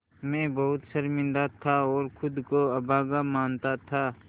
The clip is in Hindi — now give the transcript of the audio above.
मैं बहुत शर्मिंदा था और ख़ुद को अभागा मानता था